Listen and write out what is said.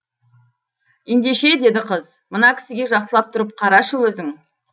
ендеше деді қыз мына кісіге жақсылап тұрып қарашы өзің